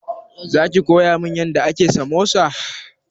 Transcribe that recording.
Za ki koya min yadda ake samosa?